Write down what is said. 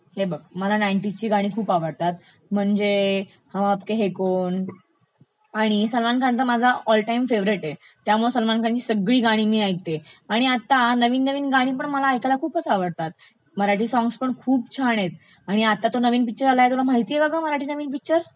हे बघ मला नाइन्टीज ची गाणी खूप आवडतात, म्हणजे हम आपके है कौन? आणि सलमान खान तर माझा ऑल टाइम फेवरेट आहे, त्यामुळे सलमान खानची सगळी गाणी मी ऐकते. आणि आत्ता नवीन नवीन गाणीपण ऐकायला मला खूपच आवडतात. मराठी सॉंग्स् पण खूप छान आहेत, आणि तो नवीन पिक्चर आलाय तुला माहितेय का ग मराठी नवीन पिक्चर?